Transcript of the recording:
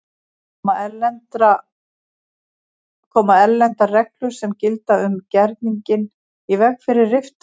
Koma erlendar reglur sem gilda um gerninginn í veg fyrir riftun?